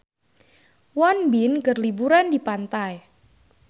Won Bin keur liburan di pantai